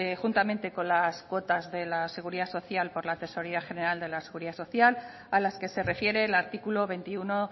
juntamente con las cuotas de la seguridad social por la tesorería general de la seguridad social a las que se refiere el artículo veintiuno